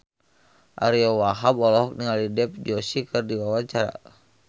Ariyo Wahab olohok ningali Dev Joshi keur diwawancara